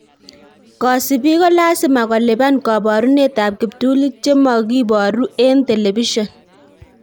Kosibiik ko lasima kolipan koborunetab kiptulit che mogiboru en telebision